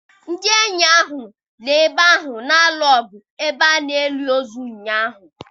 Ndị enyi ahụ nọ n'ebe ahụ na-alụ ọgụ n'ebe a na-eli ozu ụnyaahụ.